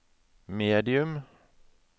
medium